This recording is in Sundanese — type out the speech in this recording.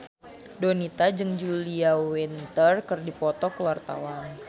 Donita jeung Julia Winter keur dipoto ku wartawan